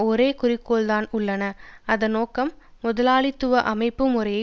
ஒரே குறிக்கோள் தான் உள்ளன அதன் நோக்கம் முதலாளித்துவ அமைப்பு முறையை